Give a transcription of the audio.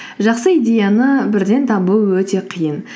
жақсы идеяны бірден табу өте қиын